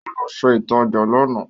Ó lọ ṣe ìtajà lánàá